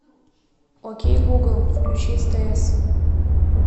окей гугл включи стс